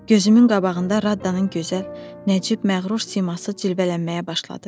Gözümün qabağında Raddanın gözəl, nəcib, məğrur siması cilvələnməyə başladı.